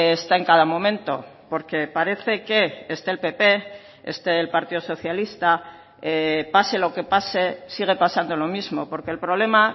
está en cada momento porque parece que esté el pp esté el partido socialista pase lo que pase sigue pasando lo mismo porque el problema